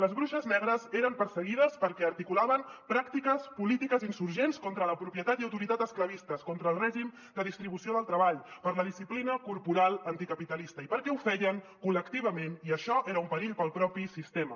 les bruixes negres eren perseguides perquè articulaven pràctiques polítiques insurgents contra la propietat i autoritat esclavistes contra el règim de distribució del treball per la disciplina corporal anticapitalista i perquè ho feien col·lectivament i això era un perill per al propi sistema